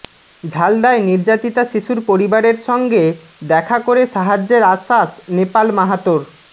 ঝালদায় নির্যাতিতা শিশুর পরিবারের সঙ্গে দেখা করে সাহায্যের আশ্বাস নেপাল মাহাতোর